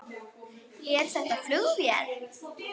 Er þetta flugvél?